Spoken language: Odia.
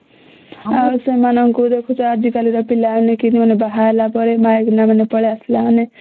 ଆଉ ସେମାନଙ୍କୁ ଦେଖୁଛେ ଆଜି କାଲିକା ପିଲା ମାନେ କେମିତି ବାହା ହେଲା ପରେ ମାଇକିନା ମାନେ ପଳେଇ ଆସିଲା ମାନେ